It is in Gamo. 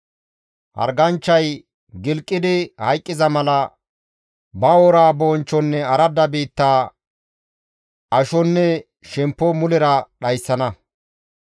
Harganchchay gilqidi hayqqiza mala ba woraa bonchchonne aradda biitta, ashonne shemppo mulera dhayssana.